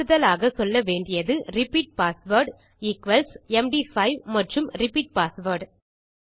கூடுதலாக சொல்ல வேண்டியது ரிப்பீட் பாஸ்வேர்ட் ஈக்வல்ஸ் எம்டி5 மற்றும் ரிப்பீட் பாஸ்வேர்ட்